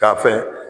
K'a fɛn